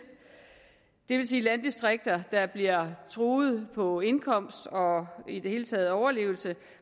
det vil sige landdistrikter der bliver truet på indkomst og i det hele taget overlevelse